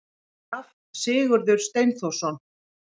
Graf: Sigurður Steinþórsson.